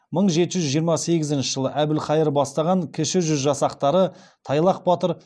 мың жеті жүз жиырма сегізінші жылы әбілхайыр бастапан кіші жүз жасақтары тайлақ батыр